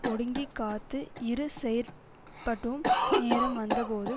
ஒடுங்கிக் காத்து இரு செயற்பட்டும் நேரம் வந்தபோது